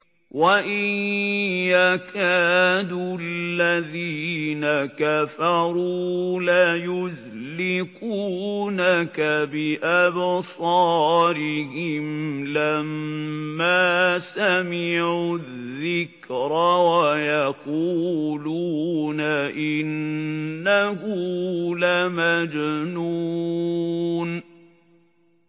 وَإِن يَكَادُ الَّذِينَ كَفَرُوا لَيُزْلِقُونَكَ بِأَبْصَارِهِمْ لَمَّا سَمِعُوا الذِّكْرَ وَيَقُولُونَ إِنَّهُ لَمَجْنُونٌ